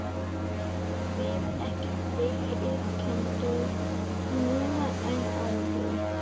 Eigum við ekki fleiri iðkendur núna en áður?